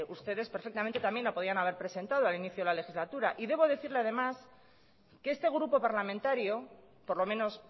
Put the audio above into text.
ustedes perfectamente también lo podían haber presentado a inicio de la legislatura debo decirle además que este grupo parlamentario por lo menos